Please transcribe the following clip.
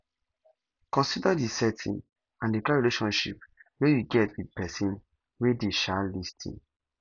consider di setting and di kind relationship wey you get with person wey dey um lis ten